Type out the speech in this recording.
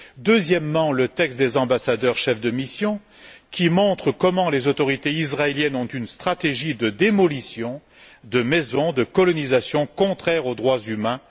Deuxièmement, le texte des ambassadeurs, chefs de mission, qui montre que les autorités israéliennes poursuivent une stratégie de démolition de maisons, de colonisation, contraire aux droits humains.